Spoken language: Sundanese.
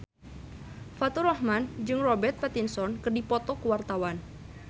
Faturrahman jeung Robert Pattinson keur dipoto ku wartawan